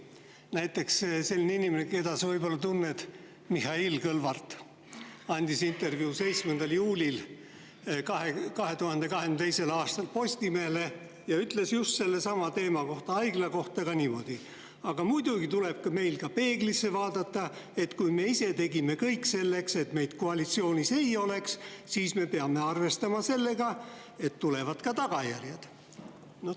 Näiteks üks inimene, keda sa võib-olla tunned, Mihhail Kõlvart, andis 7. juulil 2022. aastal Postimehele intervjuu, kus ütles just sellesama haigla teema kohta niimoodi: " aga muidugi tuleb meil ka peeglisse vaadata, et kui me ise tegime kõik selleks, et meid koalitsioonis ei oleks, siis me peame arvestama sellega, et tulevad ka tagajärjed.